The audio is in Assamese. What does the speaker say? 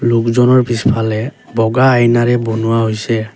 লোকজনৰ পিছফালে বগা আইনাৰে বনুৱা হৈছে।